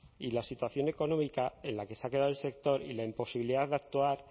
y a la situación económica en la que se ha quedado el sector y la imposibilidad de actuar